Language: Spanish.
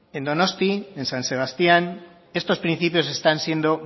en donostia en san sebastián estos principios están siendo